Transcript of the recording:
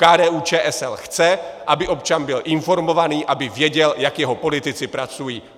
KDU-ČSL chce, aby občan byl informovaný, aby věděl, jak jeho politici pracují!.